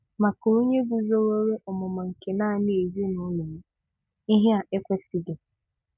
Maka onye gùzòwòrò ọmụ̀mà nke naanị ezinàụlọ ya, ihe a ekwèsịghị.